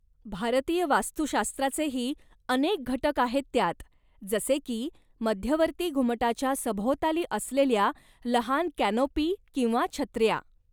भारतीय वास्तुशास्त्राचेही अनेक घटक आहेत त्यात, जसे की मध्यवर्ती घुमटाच्या सभोवताली असलेल्या लहान कॅनोपी किंवा छत्र्या.